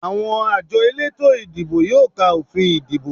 Àwọn àjọ elétò ìdìbò yóò ka òfin ìdìbò